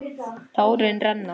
Tárin renna.